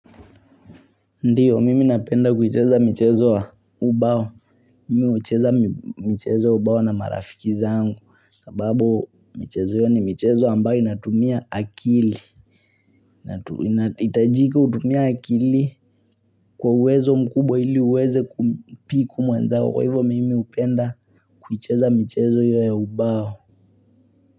Ndiyo, mimi napenda kuicheza michezo wa ubao. Mimi ucheza mchezo wa ubao na marafiki zangu. Sababu, michezo hiyo ni michezo ambayo inatumia akili. Unahitajika utumie akili kwa uwezo mkubwa ili uweze kumpiku mwenzao Kwa hivyo, mimi hupenda kuicheza michezo hiyo ya ubao.